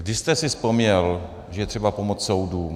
Kdy jste si vzpomněl, že je třeba pomoct soudům?